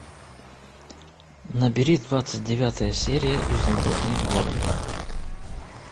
набери двадцать девятая серия изумрудный город